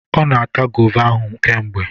Ọ na ata gova ahụ kemgbe.